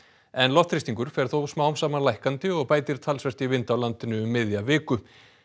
en loftþrýstingur fer þó smám saman lækkandi og bætir talsvert í vind á landinu um miðja viku